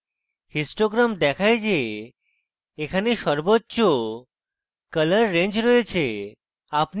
histogram দেখায় the এখানে সর্বোচ্চ colour range রয়েছে